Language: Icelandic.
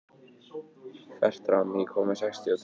Fertram, ég kom með sextíu og tvær húfur!